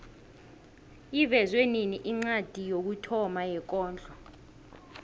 ivezwe nini incwadi yokuthoma yekondlo